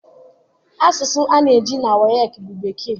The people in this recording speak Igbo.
Asụsụ a na-eji na WAEC bụ Bekee.